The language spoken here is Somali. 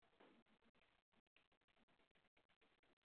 Marmar, faraantiyo badan ayaa laga yaabaa in la helo.